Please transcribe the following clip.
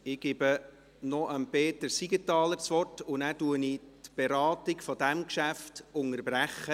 Ich gebe noch Peter Siegenthaler das Wort, und danach unterbreche ich die Beratung dieses Geschäfts.